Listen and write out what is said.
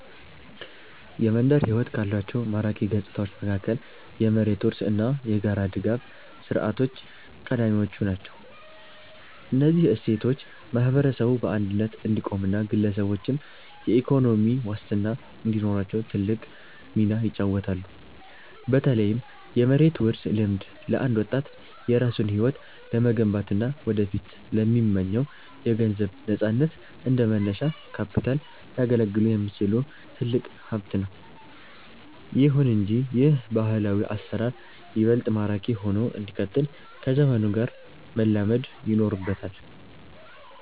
የመንደር ሕይወት ካሏቸው ማራኪ ገጽታዎች መካከል የመሬት ውርስ እና የጋራ ድጋፍ ሥርዓቶች ቀዳሚዎቹ ናቸው። እነዚህ እሴቶች ማህበረሰቡ በአንድነት እንዲቆምና ግለሰቦችም የኢኮኖሚ ዋስትና እንዲኖራቸው ትልቅ ሚና ይጫወታሉ። በተለይም የመሬት ውርስ ልምድ፣ ለአንድ ወጣት የራሱን ሕይወት ለመገንባትና ወደፊት ለሚመኘው የገንዘብ ነፃነት እንደ መነሻ ካፒታል ሊያገለግል የሚችል ትልቅ ሀብት ነው። ይሁን እንጂ ይህ ባህላዊ አሰራር ይበልጥ ማራኪ ሆኖ እንዲቀጥል ከዘመኑ ጋር መላመድ ይኖርበታል።